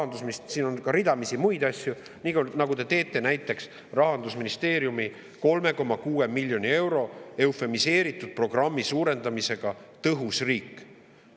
nii, nagu te teete näiteks Rahandusministeeriumi eufemiseeritud programmi "Tõhus riik" suurendamisega 3,6 miljoni euro võrra.